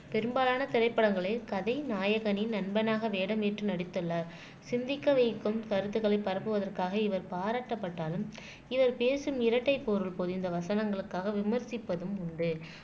பெரும்பாலான திரைப்படங்களில் கதை நாயகனின் நண்பனாக வேடம் ஏற்று நடித்துள்ளார் சிந்திக்க வைக்கும் கருத்துக்களை பரப்புவதற்காக இவர் பாராட்டப்பட்டாலும் இவர் பேசும் இரட்டைப் பொருள் பொதிந்த வசனங்களுக்காக விமர்சிப்பதும் உண்டு